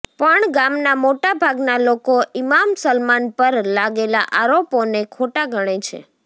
પણ ગામના મોટા ભાગના લોકો ઇમામ સલમાન પર લાગેલા આરોપોને ખોટા ગણે છે